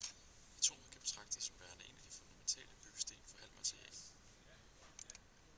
atomet kan betragtes som værende en af de fundamentale byggesten for al materie